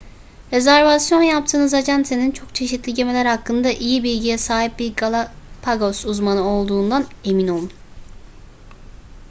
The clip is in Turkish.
rezervasyon yaptığınız acentenin çok çeşitli gemiler hakkında iyi bilgiye sahip bir galapagos uzmanı olduğundan emin olun